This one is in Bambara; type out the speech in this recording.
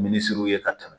Minisiriso ye ka tɛmɛ